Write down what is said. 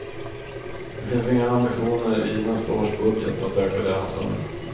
Det finns inga ambitioner i nästa års budget att öka det anslaget.